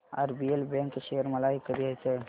RBL bank share मला विकत घ्यायचे आहेत